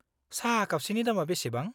साहा कापसेनि दामा बेसेबां?